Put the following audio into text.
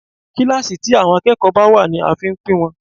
Kíláàsì tí àwọn akẹ́kọ̀ọ́ bá wà ní a fi ń pín wọn.